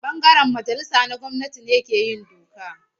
Ɓangaren majalisa na gwamnati ne ke yin doka.